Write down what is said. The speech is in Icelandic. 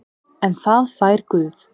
En það fær Guð.